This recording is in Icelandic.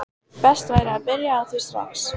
Best væri að byrja á því strax.